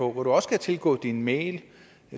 hvor du også kan tilgå din mail